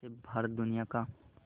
से भारत दुनिया का